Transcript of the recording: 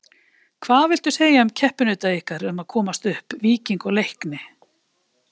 Hvað viltu segja um keppinauta ykkar um að komast upp, Víking og Leikni?